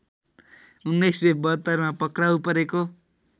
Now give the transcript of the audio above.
१९७२मा पक्राउ परेको